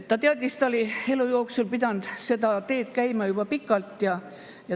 Ta teadis seda, ta oli elu jooksul pidanud seda teed käima juba pikalt.